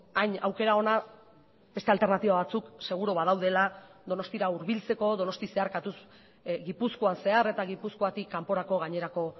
hain aukera ona beste alternatiba batzuk seguru badaudela donostira hurbiltzeko donosti zeharkatuz gipuzkoan zehar eta gipuzkoatik kanporako gainerako